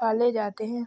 पाले जाते हैं।